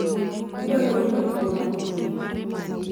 Adwaro winjo obwongo